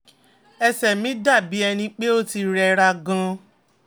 ẹsẹ̀ mi dà bí ẹni pé ó ti rẹ́ra gan-an